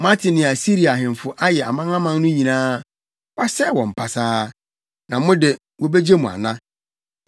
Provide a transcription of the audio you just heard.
Moate nea Asiria ahemfo ayɛ amanaman no nyinaa. Wɔasɛe wɔn pasaa. Na mo de, wobegye mo ana?